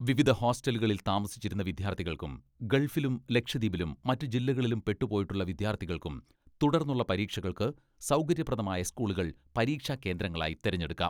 വിവിധ ഹോസ്റ്റലുകളിൽ താമസിച്ചിരുന്ന വിദ്യാർത്ഥികൾക്കും ഗൾഫിലും ലക്ഷദ്വീപിലും മറ്റ് ജില്ലകളിലും പെട്ടുപോയിട്ടുള്ള വിദ്യാർത്ഥികൾക്കും തുടർന്നുള്ള പരീക്ഷകൾക്ക് സൗകര്യപ്രദമായ സ്കൂളുകൾ പരീക്ഷാകേന്ദ്രങ്ങളായി തെരഞ്ഞെടുക്കാം.